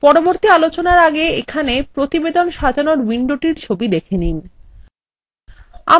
পরবর্তী আলোচনার আগে এখানে প্রতিবেদন সাজানোর উইন্ডোটির ছবি দেখে নিন